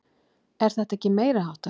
Er þetta ekki meiriháttar?